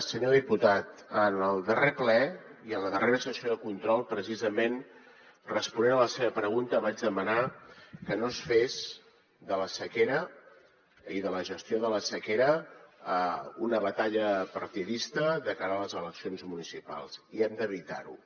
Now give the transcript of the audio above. senyor diputat en el darrer ple i en la darrera sessió de control precisament responent a la seva pregunta vaig demanar que no es fes de la sequera i de la gestió de la sequera una batalla partidista de cara a les eleccions municipals i hem d’evitar ho